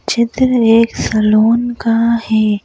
चित्र एक सलून का है।